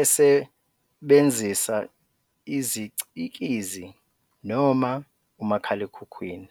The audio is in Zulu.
esebenzisa isicikizi noma umakhalekhukhwini.